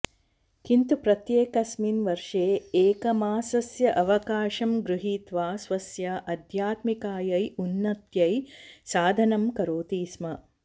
किन्तु प्रत्येकस्मिन् वर्षे एकमासस्य अवकाशं गृहीत्वा स्वस्य आध्यात्मिकायै उन्नत्यै साधनां करोति स्म